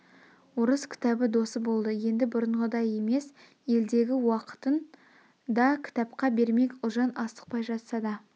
орыс кітабы досы болды енді бұрынғыдай емес елдегі уақытын да кітапқа бермек ұлжан асықпай жатса да